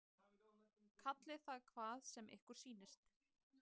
Kallið það hvað sem ykkur sýnist.